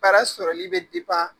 Baara sɔrɔli bɛ